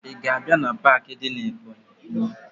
Ị ga-abịa na paakị dị na Ebọnyị?